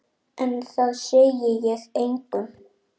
En það segi ég engum.